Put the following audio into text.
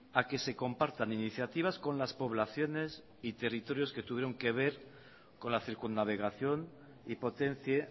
a que se compartan iniciativas con las poblaciones y territorios que tuvieron que ver con la circunnavegación y potencie